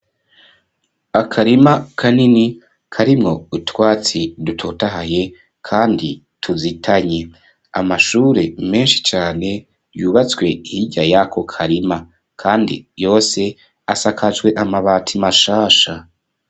Akarima kanini, karimwo utwatsi, dutotahaye, kandi tuzitanye; amashure menshi cane, yubatswe hirya y'ako karima; kandi yose, asakajwe amabati, mashasha.